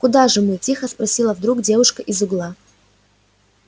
куда же мы тихо спросила вдруг девушка из угла